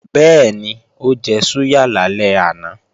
Bẹ́ẹ̀ni, ó jẹ súyà lálẹ́ àná